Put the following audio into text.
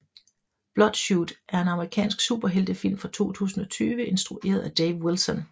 Bloodshot er en amerikansk superheltefilm fra 2020 instrueret af Dave Wilson